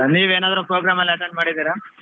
ನೀವೇನಾದ್ರು program ಅಲ್ಲಿ attend ಮಾಡಿದ್ದೀರಾ?